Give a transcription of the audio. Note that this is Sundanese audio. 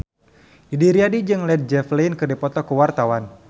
Didi Riyadi jeung Led Zeppelin keur dipoto ku wartawan